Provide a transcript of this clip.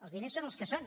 els diners són els que són